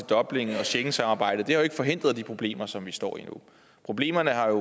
dublin og schengensamarbejdet har jo ikke forhindret de problemer som vi står i nu problemerne er